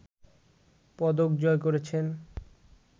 পদক জয় করেছেন